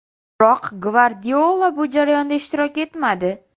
Biroq Gvardiola bu jarayonda ishtirok etmadi.